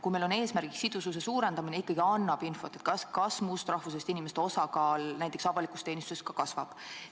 Kui meil on eesmärk sidususe suurendamine, siis ikkagi ütleb palju info, kas muust rahvusest inimeste osakaal näiteks avalikus teenistuses ka kasvab.